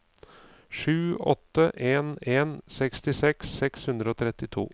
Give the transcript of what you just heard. sju åtte en en sekstiseks seks hundre og trettito